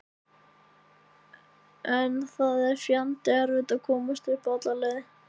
En það er fjandi erfitt að komast alla leið upp.